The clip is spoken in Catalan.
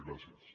gràcies